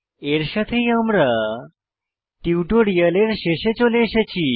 এর সাথেই আমরা টিউটোরিয়ালের শেষে চলে এসেছি